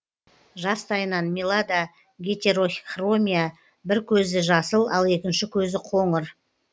жастайынан милада гетерохромия бір көзі жасыл ал екінші көзі қоңыр